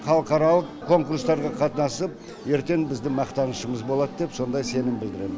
халықаралық конкурстарға қатынасып ертең біздің мақтанышымыз болады деп сондай сенім білдірем